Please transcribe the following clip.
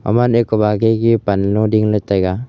gaman kuba ke a ge panlo dingla taiga.